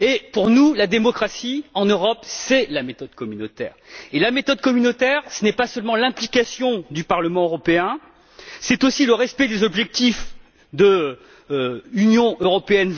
Pour nous, la démocratie en Europe, c'est la méthode communautaire et la méthode communautaire, ce n'est pas seulement l'implication du Parlement européen, c'est aussi le respect des objectifs de la stratégie Europe